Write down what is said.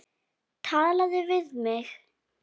Talaðu við mig!